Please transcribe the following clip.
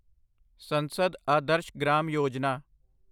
ਸੰਸਦ ਆਦਰਸ਼ ਗ੍ਰਾਮ ਯੋਜਨਾ